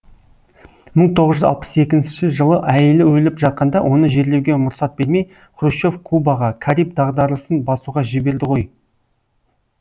мың тоғыз жүз алпыс екінші жылы әйелі өліп жатқанда оны жерлеуге мұрсат бермей хрущев кубаға кариб дағдарысын басуға жіберді ғой